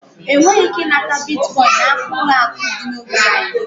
Ị nweghị ike nweta Biticoinu n'aka ụlọ akụ dị n'ógbè anyị.